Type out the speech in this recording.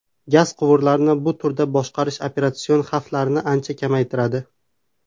Gaz quvurlarini bu turda boshqarish operatsion xavflarni ancha kamaytiradi.